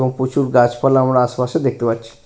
ও প্রচুর গাছপালা আমরা আশেপাশে দেখতে পাচ্ছি।